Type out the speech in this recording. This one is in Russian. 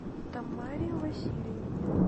тамаре васильевне